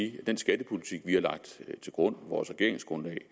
at den skattepolitik vi har lagt til grund vores regeringsgrundlag